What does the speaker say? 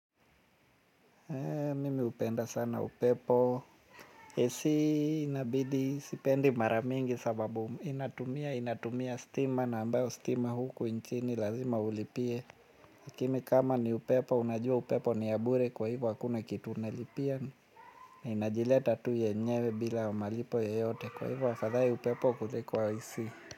Mimi hupenda sana upepo, A.C inabidi sipendi mara mingi sababu inatumia stima na ambayo stima huku nchini lazima ulipie lakini kama ni upepo unajua upepo ni ya bure kwa hivo hakuna kitu unalipia na inajileta tu yenyewe bila malipo yoyote. Kwa hivo afadhai upepo kuliko A.C.